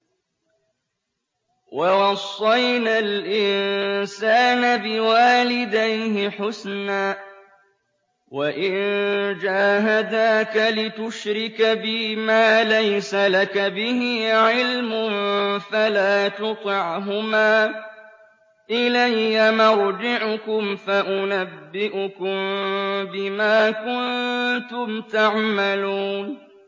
وَوَصَّيْنَا الْإِنسَانَ بِوَالِدَيْهِ حُسْنًا ۖ وَإِن جَاهَدَاكَ لِتُشْرِكَ بِي مَا لَيْسَ لَكَ بِهِ عِلْمٌ فَلَا تُطِعْهُمَا ۚ إِلَيَّ مَرْجِعُكُمْ فَأُنَبِّئُكُم بِمَا كُنتُمْ تَعْمَلُونَ